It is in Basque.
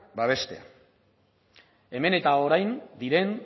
babestea hemen eta orain diren